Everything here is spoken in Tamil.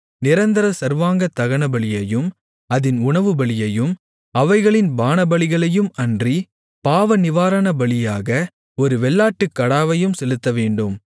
நிரந்தர சர்வாங்க தகனபலியையும் அதின் உணவுபலியையும் அவைகளின் பானபலிகளையும் அன்றி பாவநிவாரணபலியாக ஒரு வெள்ளாட்டுக்கடாவையும் செலுத்தவேண்டும்